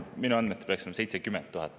Minu andmetel peaks neid olema 70 000.